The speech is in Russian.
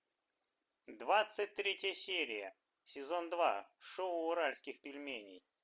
двадцать третья серия сезон два шоу уральских пельменей